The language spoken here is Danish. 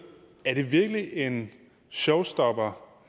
er det så virkelig en showstopper